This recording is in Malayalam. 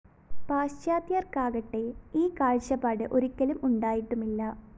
പാശ്ചാത്യര്‍ക്കാകട്ടെ ഈ കാഴ്ചപ്പാട് ഒരിക്കലും ഉണ്ടായിട്ടുമില്ല